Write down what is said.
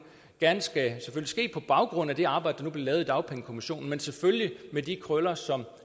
skal ske på baggrund af det arbejde lavet i dagpengekommissionen men selvfølgelig med de krøller som